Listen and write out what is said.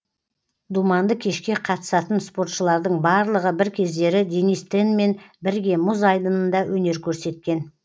думанды кешке қатысатын спортшылардың барлығы бір кездері денис тенмен бірге мұз айдынында өнер көрсеткен